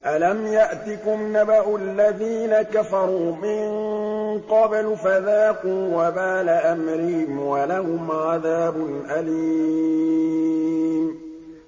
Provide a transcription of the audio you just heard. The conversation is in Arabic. أَلَمْ يَأْتِكُمْ نَبَأُ الَّذِينَ كَفَرُوا مِن قَبْلُ فَذَاقُوا وَبَالَ أَمْرِهِمْ وَلَهُمْ عَذَابٌ أَلِيمٌ